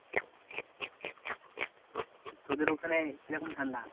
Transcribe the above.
তোদের ওখানে কি রকম ঠান্ডা?